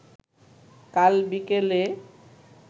কাল বিকেলে